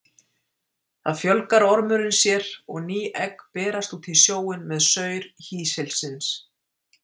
Þar fjölgar ormurinn sér og ný egg berast út í sjóinn með saur hýsilsins.